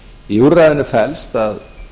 í úrræðinu felst að